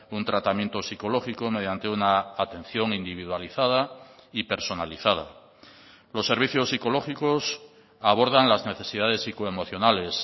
un tratamiento psicológico mediante una atención individualizada y personalizada los servicios psicológicos abordan las necesidades psico emocionales